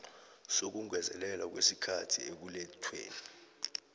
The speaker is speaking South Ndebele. sokungezelelwa kwesikhathi ekulethweni